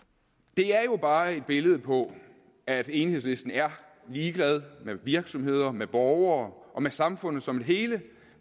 det er jo bare et billede på at enhedslisten er ligeglad med virksomheder med borgere og med samfundet som et hele